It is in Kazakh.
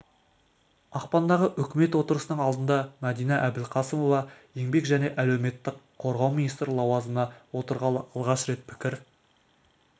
ақпандағы үкімет отырысының алдында мәдина әбілқасымова еңбек және әлеуметтік қорғау министрі лауазымына отырғалы алғаш рет пікір